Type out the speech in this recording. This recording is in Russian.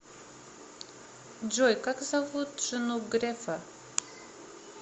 джой как зовут жену грефа